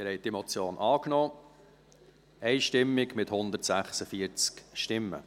Sie haben diese Motion einstimmig angenommen, mit 146 Stimmen.